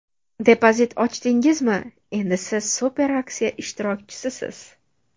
Depozit ochdingizmi, endi siz super aksiya ishtirokchisisiz!